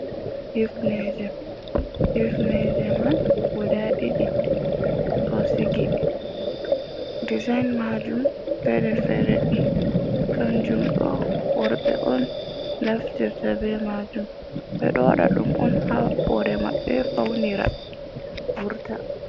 Hipneje, Hipneje man guda ɗiɗi ɗo sigi desin majum fere fere, kanjum ɗo worɓe on naftirta be majum ɓeɗo waɗa ɗum on ha hore mabɓe faunira vurta.